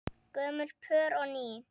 Gömul pör og ný.